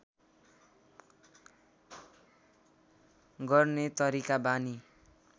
गर्ने तरिका बानी